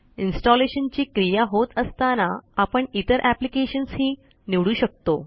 installation ची क्रिया होत असताना आपण इतर एप्लिकेशन्स ही निवडू शकतो